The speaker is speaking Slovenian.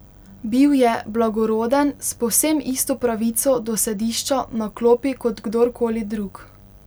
Bil je blagoroden, s povsem isto pravico do sedišča na klopi kot kdor koli drug.